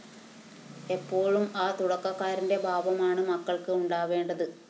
എപ്പോഴും ആ തുടക്കക്കാരന്റെ ഭാവമാണ് മക്കള്‍ക്ക് ഉണ്ടാവേണ്ടത്